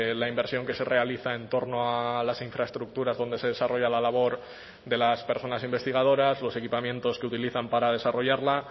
la inversión que se realiza en torno a las infraestructuras donde se desarrolla la labor de las personas investigadoras los equipamientos que utilizan para desarrollarla